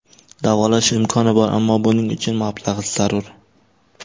Davolash imkoni bor, ammo buning uchun mablag‘ zarur.